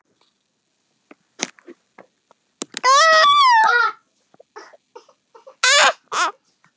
Það sem hann getur étið!